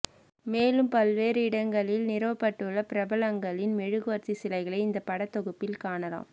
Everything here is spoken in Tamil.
மேலும் பல்வேறு இடங்களில் நிறுவப்பட்டுள்ள பிரபலங்களின் மெழுகுவர்த்தி சிலைகளை இந்த படத்தொகுப்பில் காணலாம்